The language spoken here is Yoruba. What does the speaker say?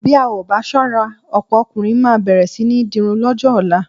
Bí a ò bá ṣọ́ra ọ̀pọ̀ ọkùnrin máa bẹ̀rẹ̀ sí ní dirun lọ́jọ́ ọ̀la.